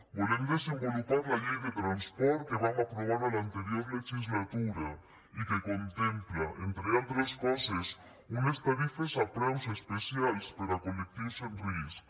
volem desenvolupar la llei de transport que vam aprovar a l’anterior legislatura i que contempla entre altres coses unes tarifes a preus especials per a col·lectius en risc